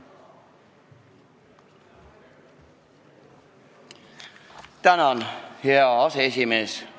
Tänan, hea aseesimees!